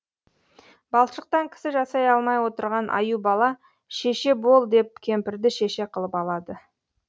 балшықтан кісі жасай алмай отырған аюбала шеше бол деп кемпірді шеше қылып алады